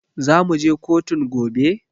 Zamuje kotun gobe?